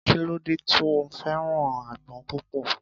kí ló dé tí o fẹ́ràn àgbon púpò